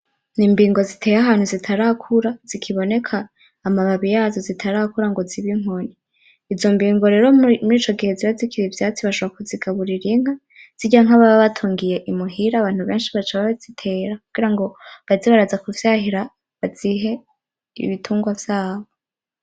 Ni imbingo ziteye ahantu zitarakura, zikiboneka amababi yazo zitarakura ngo zibe inkoni. izo mbingo rero muri ico gihe ziba zikiri ivyatsi bashobora kuzigaburira inka zirya nka, baba batungiye muhira abantu benshi baca bazitera, kugirango baze baraza kuvyahira bazihe ibitungwa vyabo.